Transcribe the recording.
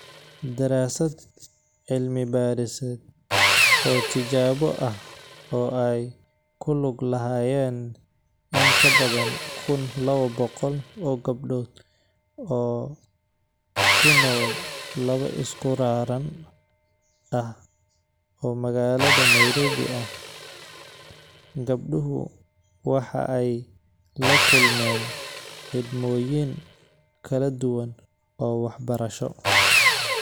Daraasad cilmi-baadhiseed oo tijaabo ah oo ay ku lug lahaayeen in ka badan 1,200 oo gabdhood oo ku nool laba isku raran ah oo magaalada Nairobi ah, gabdhuhu waxa ay la kulmeen xidhmooyin kala duwan oo waxbarasho.